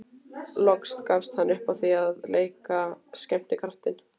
Loks gafst hann upp á því að leika skemmtikraft.